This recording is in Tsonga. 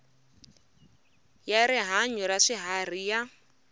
ya rihanyu ra swiharhi ya